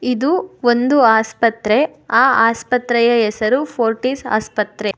ಇದು ಒಂದು ಆಸ್ಪತ್ರೆ ಆ ಆಸ್ಪತ್ರೆಯ ಹೆಸರು ಫೋರ್ಟೀಸ್ ಆಸ್ಪತ್ರೆ.